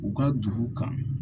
U ka dugu kan